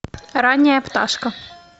ранняя пташка